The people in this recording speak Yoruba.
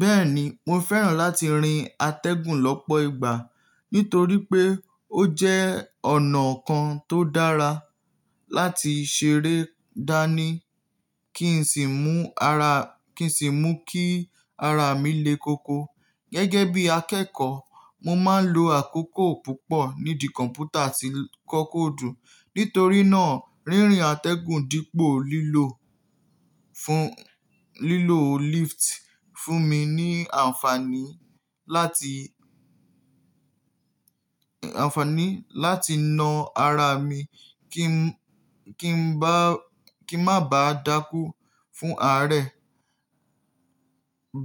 Bẹ́ẹ̀ni, mo fẹ́ràn láti rin atẹ́gùn lọ́pọ̀ ìgbà nítorí pé ó jẹ́ e ọ̀nà kan tó dára láti ṣeré dání ki n si n kí n sì mú kí ara mi le koko. Gẹ́gẹ́ bí akẹ́kọ̀ọ́, mo máa ń lo àkókò púpọ̀ nídi kọ̀mpútà tí n l kókò dùn. Nítorí náà, rírìn atẹ́gùn dípò lilo lílò lift fún mi ní anfaani àǹfààní láti na ara mi kí n má ba dákú fún aarẹ.